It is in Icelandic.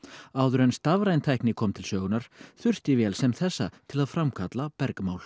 áður en stafræn tækni kom til sögunnar þurfti vél sem þessa til að framkalla bergmál